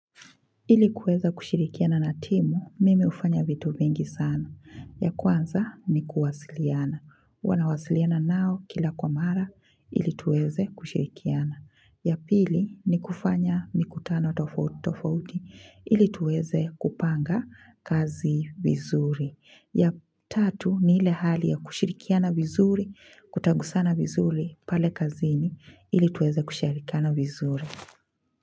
Ilikuweza kushirikiana na timu, mimi hufanya vitu vingi sana. Ya kwanza ni kuwasiliana. Huwa nawasiliana nao kila kwa mara, ili tuweze kushirikiana. Ya pili ni kufanya mikutano tofauti, ili tuweze kupanga kazi vizuri. Ya tatu ni ile hali ya kushirikiana vizuri, kutagusana vizuri pale kazini, ili tuweze kushirikiana vizuri.